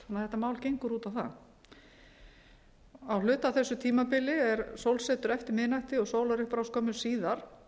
þetta mál gengur út á það á hluta af þessu tímabili er sólsetur eftir miðnætti og sólarupprás skömmu síðar